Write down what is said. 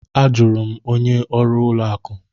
A jụrụ m onye ọrụ ụlọ akụ.